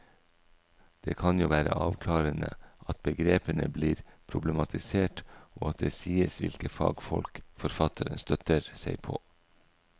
Det kan jo være avklarende at begrepene blir problematisert og at det sies hvilke fagfolk forfatteren støtter seg på.